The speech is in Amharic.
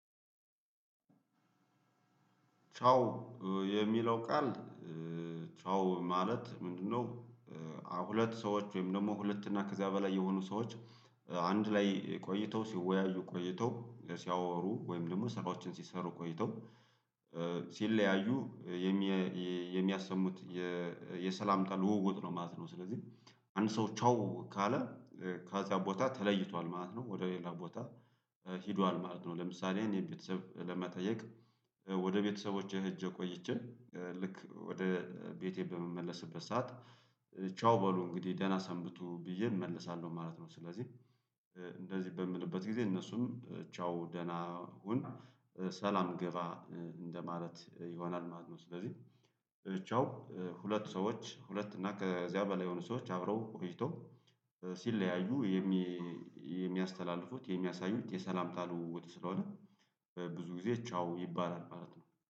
ቻው የሚለው ቃል ቻው ማለት ምንድነው? ሁለት ሰዎች ወይም ደግሞ ሁለት እና ከዚያ በላይ የሆኑ ሰዎች አንድ ላይ ቆይተው ሲወያዩ ቆይተው ሲያወሩ ወይም ደግሞ ስራዎችን ሲሰሩ ቆይተው ሲለያዩ የሚያሰሙት የሰላምታ ልውውጥ ነው ማለት ነው፤ ስለዚህ አንድ ሰው ቻው ካለ ከዛ ቦታ ተለይቷል ማለት ነው ወደ ሌላ ቦታ ሄዷል ማለት ነው ለምሳሌ እኔ ቤተሰብ ለመጠየቅ ወደ ቤተሰቦቼ ሄጅ ቆይቼ ልክ ወደ ቤቴ በመመለስበት ሰዓት ቻው በሉ እንግዲህ ደህና ሰንብቱ ብዬ እመልሳለሁ ማለት ነው ስለዚህ እንደዚህ በምልበት ጊዜ እነሱም ቻው ደህና ሁን ሰላም ግባ እንደማለት ይሆናል ማለት ነው ስለዚህ ቻው ሁለት ሰዎች ሁለት እና ከዚያ በላይ የሆኑ ሰዎች አብረው ቆይተው ሲለያዩ የሚያስተላልፉት የሚያሳዩት የሰላምታ ልውውጥ ስለሆነ ብዙ ጊዜ ቻው ይባላል ማለት ነው።